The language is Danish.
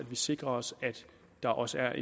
vi sikrer os at der også er